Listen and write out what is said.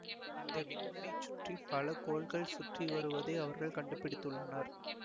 இந்த விண்மீனை சுற்றி பல கோள்கள் சுற்றி வருவதை அவர்கள் கண்டுபிடித்துள்ளனர்